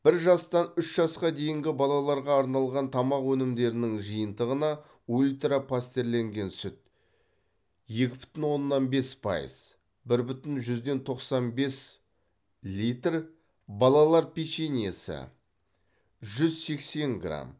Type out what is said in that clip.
бір жастан үш жасқа дейінгі балаларға арналған тамақ өнімдерінің жиынтығына ультра пастерленген сүт екі бүтін оннан бес пайыз бір бүтін жүзден тоқсан бес литр балалар печеньесі жүз сексен грамм